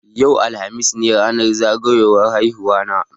Yau, alhamis, ne ranar zagayan haihuwa na